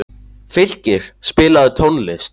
Fylkir, spilaðu tónlist.